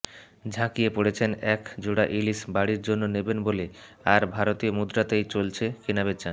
ঝাঁপিয়ে পড়েছেন এক জোড়া ইলিশ বাড়ির জন্য নেবেন বলে আর ভারতীয় মুদ্রাতেই চলছে কেনাবেচা